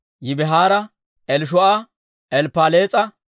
Yibihaara, Elishuu'a, Elppaalees'a,